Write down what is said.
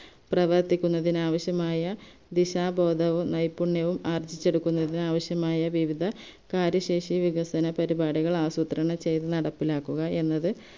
പ്രവർത്തിക്കുന്നതിന് ആവശ്യമായ ദിശാബോധവും നൈപുണ്യവും ആർജിച്ചെടുക്കുന്നതിന് ആവശ്യമായ വിവിധ കാര്യശേഷിവികസന പരിപാടികൾ ആസൂത്രണം ചെയ്തു നടപ്പിലാക്കുക എന്നത്